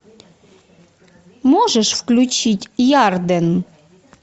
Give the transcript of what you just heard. можешь включить ярден